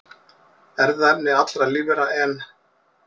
Erfðaefni allra lífvera, en